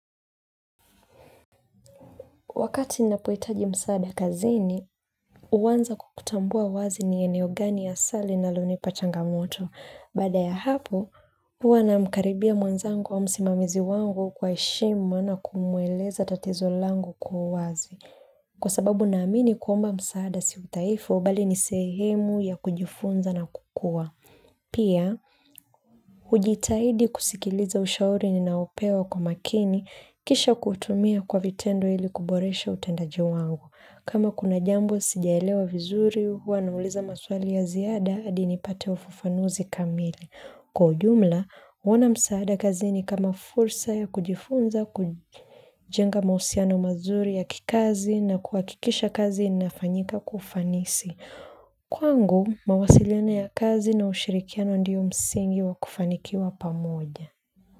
Wakati napohitaji msaada kazini, uanza kwa kutambua wazi ni eneo gani hasa linalonipa changamoto. Baada ya hapo, huwa namkaribia mwenzangu au msimamizi wangu kwa heshima na kumueleza tatizo langu kwa uwazi. Kwa sababu naamini kwamba msaada sio udhaifu, bali ni sehemu ya kujifunza na kukua. Pia, hujitahidi kusikiliza ushauri ninaopewa kwa makini kisha kuutumia kwa vitendo ili kuboresha utendaji wangu. Kama kuna jambo sijaelewa vizuri, huwa nauliza maswali ya ziada hadi nipate ufafanuzi kamili. Kwa ujumla, huona msaada kazi ni kama fursa ya kujifunza kujenga mahusiano mazuri ya kikazi na kuhakikisha kazi inafanyika kwa ufanisi. Kwangu, mawasiliona ya kazi na ushirikiano ndiyo msingi wa kufanikiwa pamoja.